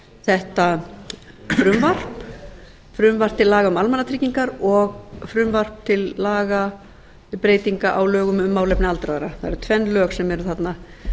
þetta frumvarp frumvarp til laga um almannatryggingar og frumvarp til laga um breytingu á lögum um málefni aldraðra það eru tvenn lög sem eru þarna